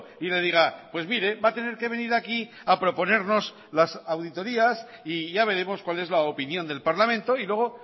y le diga pues mire va a tener que venir aquí a proponernos las auditorías y ya veremos cuál es la opinión del parlamento y luego